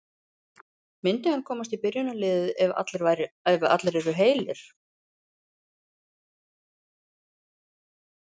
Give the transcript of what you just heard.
Myndi hann komast í byrjunarliðið ef allir eru heilir?